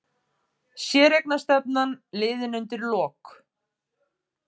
Séreignarstefnan liðin undir lok